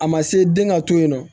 A ma se den ka to yen nɔ